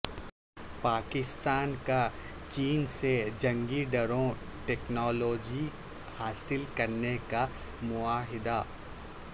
پاکستان کا چین سے جنگی ڈرون ٹیکنالوجی حاصل کرنے کا معاہدہ